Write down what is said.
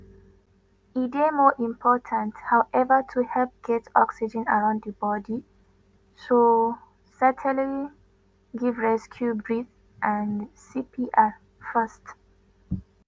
e dey more important however to help get oxygen around di body so certainly give rescue breaths and cpr first.